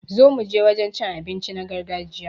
Zo muje wajen cin abinci na gargajiya